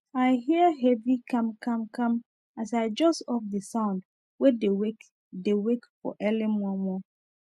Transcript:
i hear heavy kamkamkam as i jus off the sound wey dey wake dey wake for early momo